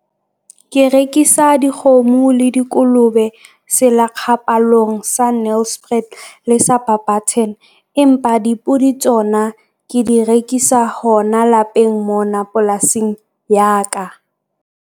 Ke rekisa dikgomo le dikolobe selakgapalong sa Nelspruit le sa Barberton, empa dipodi tsona ke di rekisa hona lapeng mona polasing ya ka.